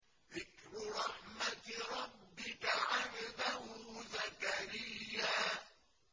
ذِكْرُ رَحْمَتِ رَبِّكَ عَبْدَهُ زَكَرِيَّا